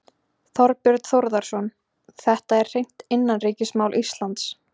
Þorbjörn Þórðarson: Þetta er hreint innanríkismál Íslands?